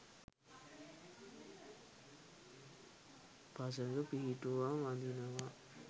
පසඟ පිහි‍ටුවා වඳිනවා